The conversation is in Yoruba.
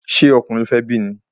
Ṣé ọkùnrin ni e fé bí ni?